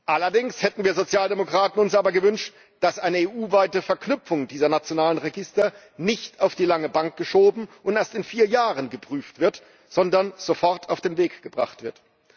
Allerdings hätten wir Sozialdemokraten uns gewünscht, dass eine EU weite Verknüpfung dieser nationalen Register nicht auf die lange Bank geschoben und erst in vier Jahren geprüft wird, sondern sofort auf den Weg gebracht wird.